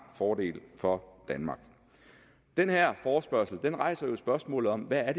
fordel for danmark den her forespørgsel rejser jo spørgsmålet om hvad